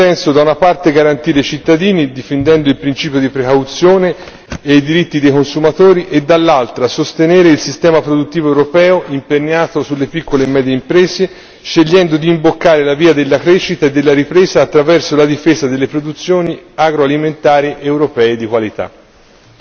Dovremmo in questo senso da una parte garantire i cittadini, difendendo il principio di precauzione e i diritti dei consumatori, e dall'altra sostenere il sistema produttivo europeo imperniato sulle piccole e medie imprese, scegliendo di imboccare la via della crescita e della ripresa attraverso la difesa delle produzioni agroalimentari europee di qualità.